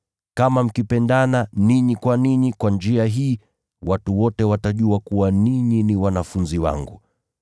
Kama mkipendana ninyi kwa ninyi, kwa njia hii, watu wote watajua kuwa ninyi ni wanafunzi wangu.”